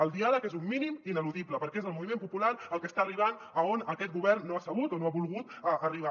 el diàleg és un mínim ineludible perquè és el moviment popular el que està arribant a on aquest govern no ha sabut o no ha volgut arribar